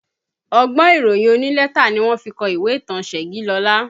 Ọgbọ́n ìròyìn onílẹ́tà ni wọ́n fi kọ ìwé ìtàn Segilola